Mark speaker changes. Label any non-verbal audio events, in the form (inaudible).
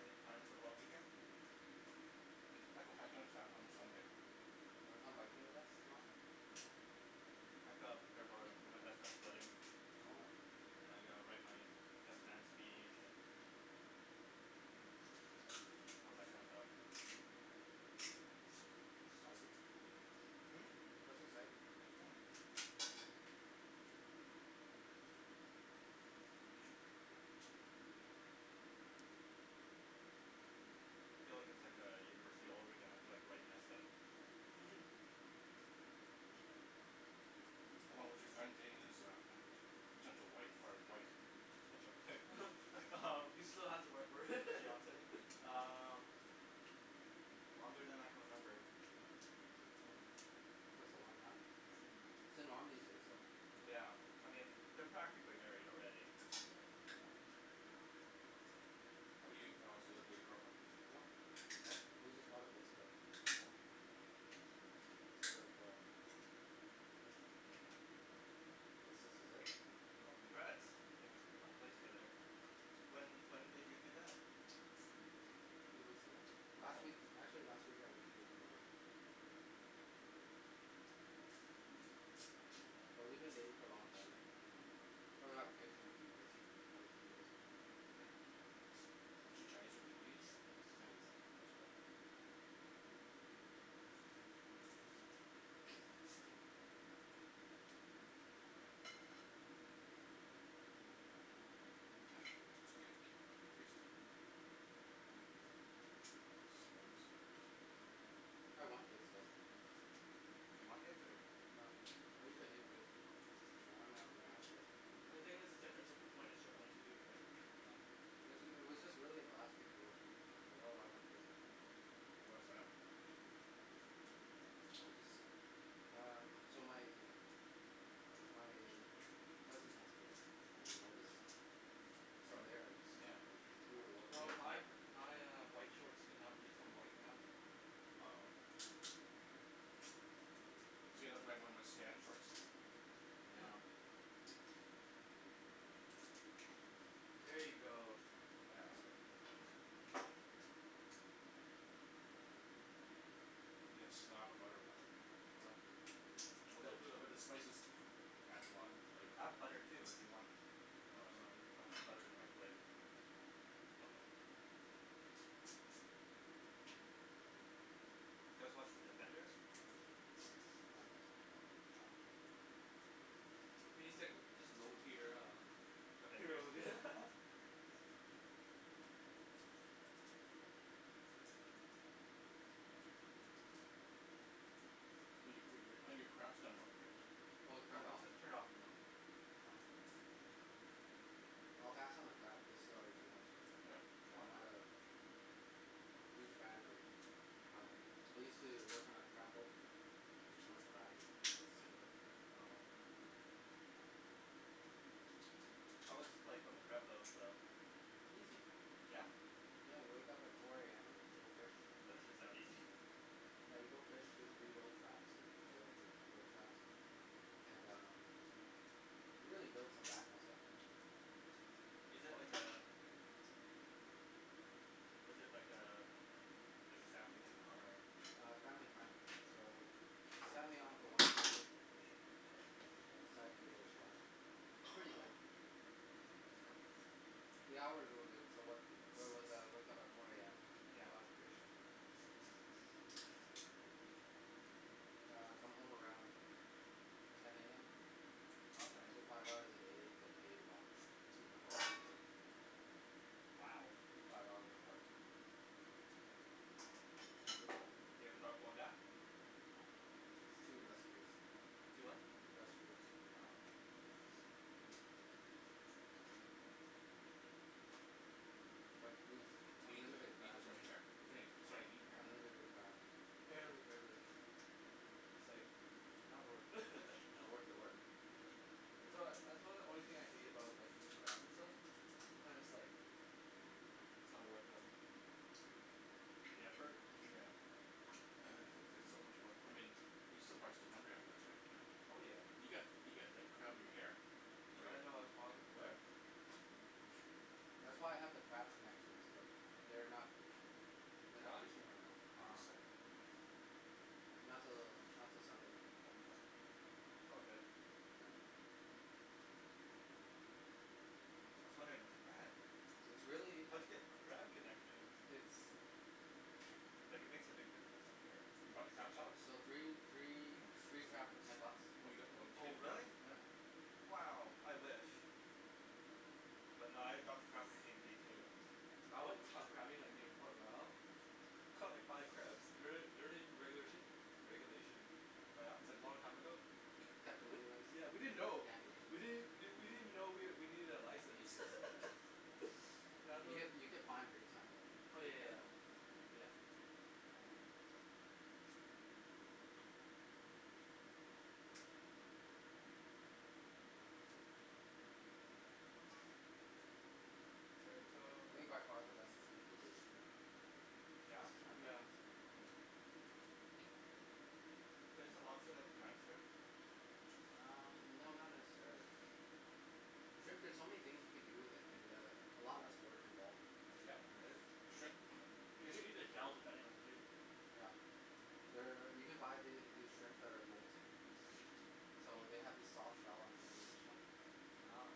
Speaker 1: Any plans for the long weekend?
Speaker 2: Might go hiking on Sa- on Sunday.
Speaker 3: Wanna come hiking with us tomorrow?
Speaker 1: I have to prepare for for my best friend's wedding.
Speaker 3: Oh.
Speaker 1: And I gotta write my best man's speech and
Speaker 2: Mm.
Speaker 1: all that kind of stuff.
Speaker 3: Exciting.
Speaker 1: Mm? Mhm.
Speaker 3: That's exciting.
Speaker 1: Feel like it's like a university all over again, you have to like write an essay.
Speaker 4: (laughs)
Speaker 2: How long was your friend dating this uh potential wife or wife?
Speaker 1: Potential wife (laughs)
Speaker 4: (laughs) He still has to work for it
Speaker 1: Fiance,
Speaker 4: (laughs)
Speaker 1: uh, longer than I can remember.
Speaker 3: Hm, that's a long time. That's the norm these days though.
Speaker 1: Yeah, I mean, they're practically married already.
Speaker 2: How 'bout you Alex, you live with your girlfriend?
Speaker 3: No,
Speaker 2: No?
Speaker 3: but we just bought a place together.
Speaker 2: Oh.
Speaker 3: Sort of um, I guess this is it.
Speaker 1: Well congrats,
Speaker 3: Yeah.
Speaker 1: if you bought a place together. When when did you do that?
Speaker 3: Two weeks ago. Last week,
Speaker 1: Oh!
Speaker 3: actually, last week I went to give the money. But we've been dating for a long time
Speaker 2: Mm.
Speaker 3: now. Probably gonna have kids in a few years. One or two years.
Speaker 1: Mm.
Speaker 2: Is she Chinese or Vietnamese?
Speaker 3: She's Chinese.
Speaker 2: Nice girl It's good. Tasty. (inaudible)
Speaker 3: I want kids though.
Speaker 1: You want kids or?
Speaker 3: No. I used to hate kids.
Speaker 1: Mm.
Speaker 3: I (inaudible) never gonna have kids.
Speaker 4: Well the thing is, difference whe- when it's your own too right.
Speaker 3: Yeah. It was just it was just really in the last few years like oh I want kids now.
Speaker 2: Why's that?
Speaker 3: Maybe I'm just, um, so my my cousin has kids, and I just, from there I just,
Speaker 2: (inaudible) yeah,
Speaker 3: like we have a lot of
Speaker 4: Well
Speaker 3: kids
Speaker 4: my uh
Speaker 2: yeah.
Speaker 4: my uh white shorts did not become white now.
Speaker 1: Oh.
Speaker 2: (inaudible)
Speaker 1: Yeah.
Speaker 4: (laughs) Here you go.
Speaker 2: Yeah that's good.
Speaker 1: (noise)
Speaker 2: You gotta slab the butter on that thing
Speaker 4: Oh. But
Speaker 2: but
Speaker 4: it's
Speaker 2: the
Speaker 4: still good
Speaker 2: but the spices
Speaker 4: though.
Speaker 2: adds a lot of flavor
Speaker 1: I have butter
Speaker 2: to
Speaker 1: too
Speaker 2: it.
Speaker 1: if you want.
Speaker 2: No
Speaker 1: If you wanna
Speaker 2: it's
Speaker 1: melt
Speaker 2: okay.
Speaker 1: some butter in the
Speaker 4: Mm.
Speaker 1: microwave. Do you guys watch The Defenders?
Speaker 3: No.
Speaker 2: No no.
Speaker 4: What do you think, just low tier uh
Speaker 1: Avengers?
Speaker 4: Heroes (laughs)
Speaker 1: (laughs)
Speaker 2: I think your cr- I think your crab's done now Rick.
Speaker 3: Oh it's
Speaker 1: No
Speaker 3: turned
Speaker 1: it's
Speaker 3: off.
Speaker 1: just
Speaker 3: It's
Speaker 1: turned off.
Speaker 2: Mm.
Speaker 3: fine. I'll pass on the crab, this is already too much.
Speaker 2: Really?
Speaker 1: What?
Speaker 3: I'm not a huge fan of crab. I used to work on a crab boat, ate too much crab and got sick of it.
Speaker 4: (noise)
Speaker 1: Oh. How was life on the crab boat though?
Speaker 3: Easy.
Speaker 1: Yeah?
Speaker 3: I had to wake up at four AM, go fish,
Speaker 1: That doesn't sound easy (laughs)
Speaker 3: yeah you go fish, just reload traps and pull up old traps and um, you really build some back muscle.
Speaker 1: Is it like a,
Speaker 2: (noise)
Speaker 1: is it like a, like a family thing or
Speaker 3: A family friend. So, they signed me on for one season,
Speaker 2: Good job.
Speaker 3: I decided to give it a shot. Pretty good.
Speaker 2: (noise)
Speaker 1: (inaudible)
Speaker 3: The hours were good, so where where was I, I woke up at four AM,
Speaker 1: Yeah.
Speaker 3: caught lots of fish. I'd come home around ten AM,
Speaker 1: Okay.
Speaker 3: so five hours a day, get paid about two hundred bucks a day.
Speaker 1: Wow.
Speaker 3: Five hours of work. Yep.
Speaker 1: You ever thought of going back?
Speaker 3: No, it's too industrious.
Speaker 1: Too what?
Speaker 3: Industrious.
Speaker 1: Wow.
Speaker 3: But, we eat
Speaker 2: (inaudible) Is there
Speaker 3: unlimited crab right. (laughs)
Speaker 2: any, is there
Speaker 1: Sorry?
Speaker 2: any meat in here?
Speaker 3: Unlimited crab.
Speaker 4: Barely. No,
Speaker 2: Mm.
Speaker 4: it's like, not worth. (laughs)
Speaker 3: Not worth the work?
Speaker 4: Yeah. That's why, that's why the only thing I hate about like eating crab and stuff, sometimes like, it's not the worth the mm
Speaker 1: The
Speaker 2: (noise)
Speaker 1: effort?
Speaker 2: Yeah.
Speaker 4: It's like so much
Speaker 2: I
Speaker 4: workload.
Speaker 2: mean, you're still prob still hungry after this right Jimmy?
Speaker 4: Oh yeah.
Speaker 2: You've got, you've got like crab in your hair. Oh
Speaker 4: I
Speaker 2: yeah.
Speaker 4: didn't know I was prob- where?
Speaker 1: (noise)
Speaker 3: That's why I have the crab connections, but, they're not,
Speaker 4: Is
Speaker 3: they're
Speaker 4: it
Speaker 3: not
Speaker 4: gone?
Speaker 3: fishing right now.
Speaker 2: No,
Speaker 3: Uh
Speaker 1: Um.
Speaker 2: this side.
Speaker 3: not till, not till Sunday.
Speaker 1: It's all good. I was wondering
Speaker 3: It's really,
Speaker 1: (inaudible) how'd you get crab connections
Speaker 3: it's
Speaker 1: Like it makes a big difference I'm
Speaker 2: You
Speaker 1: sure.
Speaker 2: bought the crab sauce?
Speaker 3: So three, three,
Speaker 1: Hm?
Speaker 3: three crab for ten bucks.
Speaker 2: Oh you got, oh did you
Speaker 1: Oh
Speaker 2: get the crab
Speaker 1: really?
Speaker 3: Yeah.
Speaker 2: sauce.
Speaker 4: Mm.
Speaker 1: Wow, I wish. But nah I got the crab from T&T too.
Speaker 4: I went
Speaker 3: (noise)
Speaker 4: uh crabbing like near Port Royal, caught like five crabs.
Speaker 2: Don't
Speaker 1: (noise)
Speaker 2: they don't they regula- regulation?
Speaker 1: Oh yeah?
Speaker 4: It's like long time ago.
Speaker 3: Caught them anyways.
Speaker 4: Yeah,
Speaker 3: Damn
Speaker 4: we didn't know. We
Speaker 3: Asians.
Speaker 4: didn't we didn't even know we needed a license.
Speaker 3: Asians.
Speaker 4: (laughs)
Speaker 3: You get you get fined big time
Speaker 4: Oh
Speaker 3: though.
Speaker 4: yeah
Speaker 3: Be
Speaker 4: yeah yeah.
Speaker 3: careful.
Speaker 4: Yeah.
Speaker 1: (noise)
Speaker 3: I think by
Speaker 4: (inaudible)
Speaker 3: far the best seafood is shrimp.
Speaker 1: Yeah?
Speaker 3: That's just
Speaker 4: Mm
Speaker 3: my
Speaker 4: yeah.
Speaker 3: preference.
Speaker 1: But isn't lobster like a giant shrimp?
Speaker 3: Um no not necessarily.
Speaker 1: (noise)
Speaker 3: Shrimp there's so many things you can do with it, and uh a lot less work involved.
Speaker 4: You
Speaker 1: (inaudible)
Speaker 4: can eat the shells depending on too.
Speaker 3: Yeah. There, you can buy these shrimp that are molting so they have the soft shell underneath the shell.
Speaker 1: Wow.